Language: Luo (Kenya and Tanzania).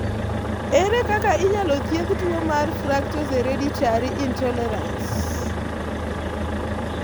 Ere kaka inyalo thiedh tuwo mar fructose hereditary intolerance (HFI)?